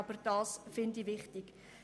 Das finde ich wichtig.